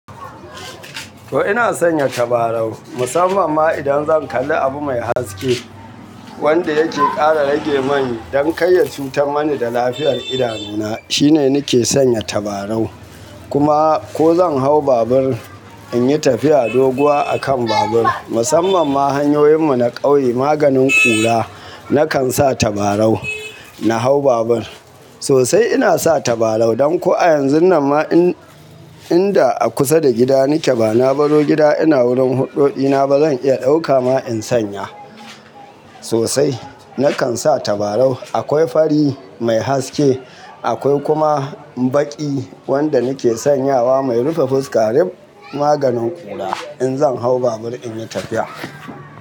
To ina sanya tabarau, musamman ma idan zan kalli abu mai haske wanda yake ƙara rage man don kar ya cutar mani da lafiyar idanu na. Shi ne nake sanya tabarau. Kuma ko zan hau babur in yi tafiya doguwa a kan babur, musamman ma hanyoyin mu na ƙauye, maganin ƙura nakan sa tabarau na hau babur. Sosai ina sa tabarau. Dan ko a yanzun nan ma inda a kusa da gida nike ba na baro gida ina wurin huɗɗo ɗina ba zan iya ɗauka ma in sanya. Sosai nakan sa tabarau. Akwai fari mai haske, akwai kuma baƙi wanda nake sanyawa mai rufe fuska ruf maganin ƙura in zan hau babur in yi tafiya.